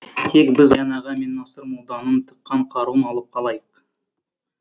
тек біз аян аға мен насыр молданың тыққан қаруын алып қалайық